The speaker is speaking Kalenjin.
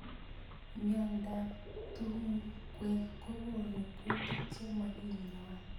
Mnyendo ab tungwek kokonu kutik chemakinyoi.